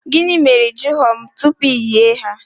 Gịnị mere na ị jụrụ m tupu iyi ha?